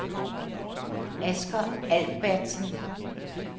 Asger Albertsen